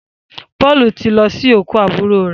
Paul tí lọ sin okú aburo rẹ.